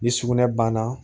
Ni sugunɛ banna